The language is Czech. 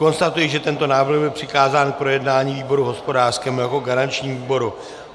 Konstatuji, že tento návrh byl přikázán k projednání výboru hospodářskému jako garančnímu výboru.